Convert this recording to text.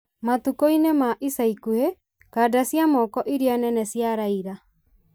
Matukũ-inĩ ma ica ikuhĩ, kanda cia moko iria nene cia Raila